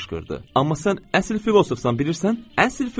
Amma sən əsl filosofsan, bilirsən, əsl filosof.